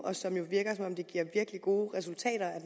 og som jo virker som om det giver nogle virkelig gode resultater